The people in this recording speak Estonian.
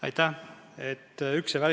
Aitäh!